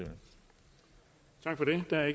der er